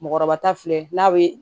Mɔgɔkɔrɔba ta filɛ n'a bɛ